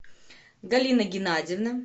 галина геннадьевна